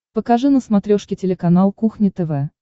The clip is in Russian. покажи на смотрешке телеканал кухня тв